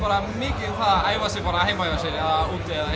mikið um það að æfa sig bara heima hjá sér eða úti eða